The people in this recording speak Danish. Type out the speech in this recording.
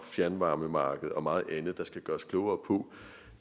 fjernvarmemarkedet og meget andet der skal gøre os klogere på